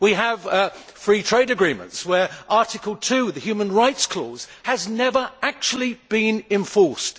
We have free trade agreements where Article 2, the human rights clause, has never actually been enforced.